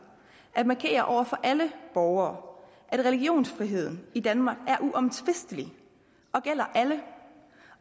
at markere over for alle borgere at religionsfriheden i danmark er uomtvistelig og gælder alle